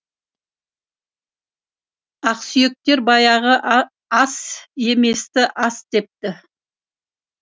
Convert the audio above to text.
ақсүйектер баяғы ас еместі ас депті